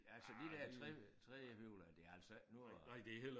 Altså de der 3 trehjulede det altså ikke noget at